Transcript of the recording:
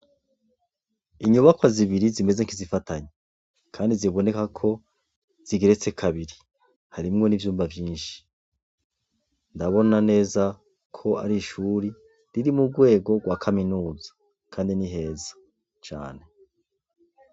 Inyubakwa zibiri zimeze nk'izifatanye kandi ziboneka ko zigeretse kabiri harimwo n'ivyumba vyinshi. Ndabona neza ko ar'ishure riri mugwego rwa kaminuza kandi ni heza cane.